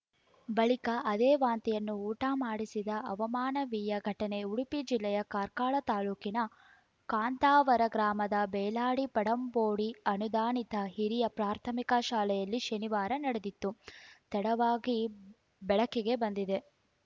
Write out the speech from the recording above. ಬಳಿಕ ಅದೇ ವಾಂತಿಯನ್ನು ಊಟ ಮಾಡಿಸಿದ ಅಮಾನವೀಯ ಘಟನೆ ಉಡುಪಿ ಜಿಲ್ಲೆಯ ಕಾರ್ಕಳ ತಾಲೂಕಿನ ಕಾಂತಾವರ ಗ್ರಾಮದ ಬೇಲಾಡಿ ಪಡಂಬೋಡಿ ಅನುದಾನಿತ ಹಿರಿಯ ಪ್ರಾಥಮಿಕ ಶಾಲೆಯಲ್ಲಿ ಶನಿವಾರ ನಡೆದಿದ್ದು ತಡವಾಗಿ ಬೆಳಕಿಗೆ ಬಂದಿದೆ